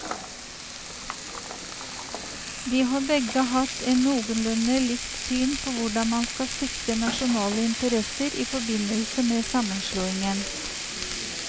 De har begge hatt en noenlunde likt syn på hvordan man skal sikre nasjonale interesser i forbindelse med sammenslåingen.